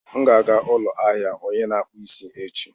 M ga-aga n'ụlọ ahịa onye na-akpụ isi echi.